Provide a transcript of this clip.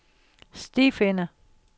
stifinder